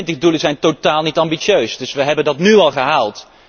De 2020 doelen zijn totaal niet ambitieus, die hebben wij nu al gehaald.